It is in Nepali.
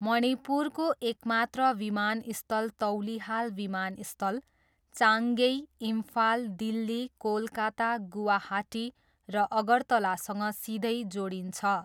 मणिपुरको एकमात्र विमानस्थल तौलिहाल विमानस्थल, चाङगेई, इम्फाल, दिल्ली, कोलकाता, गुवाहाटी र अगरतलासँग सिधै जोडिन्छ।